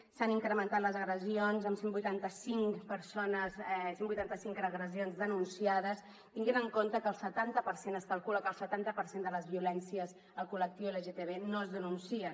s’han incrementat les agressions amb cent i vuitanta cinc agressions denunciades tenint en compte que es calcula que el setanta per cent de les violències al col·lectiu lgtbi no es denuncien